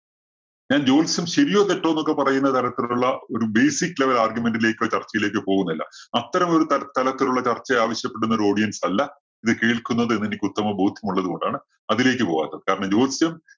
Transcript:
ഞാൻ ജോത്സ്യം ശരിയോ തെറ്റോ എന്നൊക്കെ പറയുന്ന തരത്തിലുള്ള ഒരു basic level argument ലേക്കോ, ചർച്ചയിലേക്കോ പോകുന്നില്ല. അത്തരം ഒരു ത~തരത്തിലുള്ള ചർച്ച ആവശ്യപ്പെടുന്ന ഒരു audience അല്ല ഇത് കേൾക്കുന്നത് എന്ന് എനിക്ക് ഉത്തമ ബോധ്യം ഉള്ളതുകൊണ്ടാണ് അതിലേക്ക് പോവാത്തത്. കാരണം ജ്യോത്സ്യം